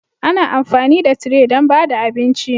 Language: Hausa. Ana amfani da tire don ba da abinci